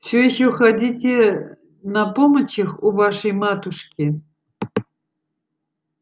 всё ещё ходите на помочах у вашей матушки